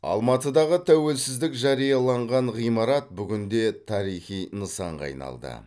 алматыдағы тәуелсіздік жарияланған ғимарат бүгінде тарихи нысанға айналды